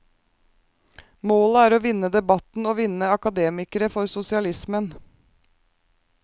Målet er å vinne debatten og vinne akademikere for sosialismen.